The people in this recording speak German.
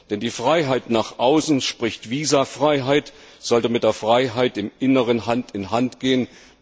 Denn die Freiheit nach außen sprich Visafreiheit sollte mit der Freiheit im Inneren Hand in Hand gehen.